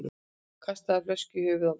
Kastaði flösku í höfuð manns